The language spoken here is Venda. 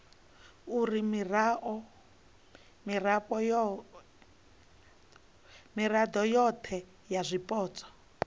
uri mirao yohe ya zwipotso